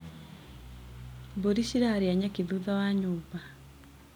Mbũri cirarĩa nyeki thutha wa nyũmba.